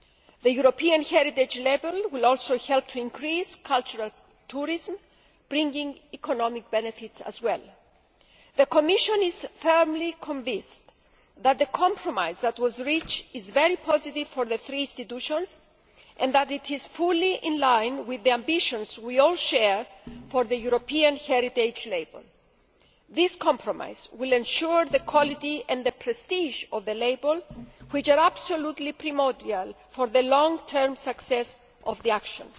The European Heritage Label will also help to increase cultural tourism, bringing economic benefits as well. The Commission is firmly convinced that the compromise that was reached is very positive for the three institutions, and that it is fully in line with the ambitions we all share for the Europe Heritage Label. This compromise will ensure the quality and the prestige of the label which are absolutely primordial for the long term success of the action.